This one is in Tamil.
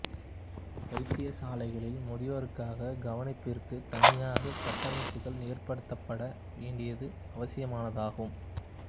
வைத்திய சாலைகளில் முதியோர்க்காக கவனிப்பிற்கு தனியாக கட்டமைப்புகள் ஏற்படுத்தப்பட வேண்டியது அவசியமானதாகும்